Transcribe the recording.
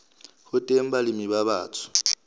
ho teng balemi ba batsho